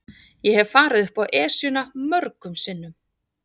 Ég hef farið upp Esjuna mörgum sinnum.